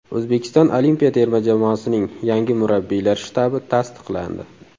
O‘zbekiston olimpiya terma jamoasining yangi murabbiylar shtabi tasdiqlandi.